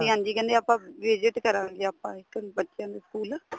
ਹਾਂਜੀ ਕਹਿੰਦੇ ਆਪਾਂ visit ਕਰਾਂਗੇ ਆਪਾਂ ਇੱਕ ਦਿਨ ਬੱਚਿਆਂ ਦੇ school